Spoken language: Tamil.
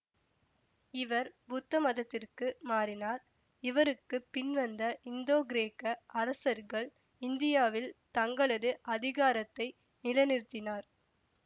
இவர் புத்த மதத்திற்கு மாறினார் இவருக்கு பின்வந்த இந்தோகிரேக்க அரசர்கள் இந்தியாவில் தங்களது அதிகாரத்தை நிலைநிறுத்தினார்